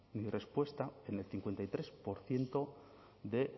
ni respuesta en el cincuenta y tres por ciento de